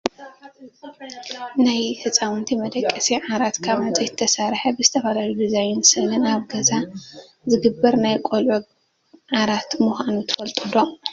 ናይ ህፃውንቲ መደቀሲ ዓራት ካብ ዕንፀይቲ ዝተሰረሓ ብዝተፈላለዩ ዲዛይንን ስዕልን ኣብ ገዛ ዝግበር ናይ ቆልዑ ዓራት ምኳኑ ትፈልጡ ዶ ?